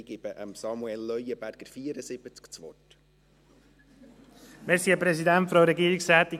Ich gebe Samuel Leuenberger, 74, das Wort.